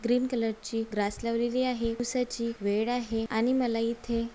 green ची grass लावलेली आहे दिवसाची वेळ आहे आणि मला इथे--